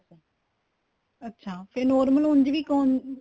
ਅੱਛਾ ਫੇਰ ਹੋਰ ਮੈਨੂੰ ਉੱਝ ਵੀ ਕੋਣ